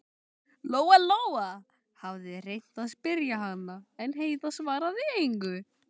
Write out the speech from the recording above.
Lóa Lóa hafði reynt að spyrja hana, en Heiða svaraði engu.